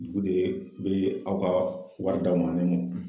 Dugu de be aw ka wari d'aw ma ne mo